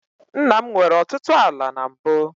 Nna m nwere ọtụtụ ala na mbụ.